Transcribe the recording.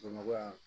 Bamakɔ yan